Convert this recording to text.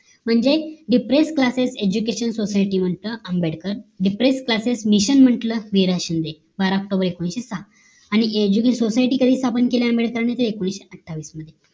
म्हणजे depress classes eduacation society म्हणत Ambedkar depress classes म्हटलं वीर शिंदे बारा सहा आणि education society कधी स्थापन केले ते एकोणीशे अठ्ठावन्न मध्ये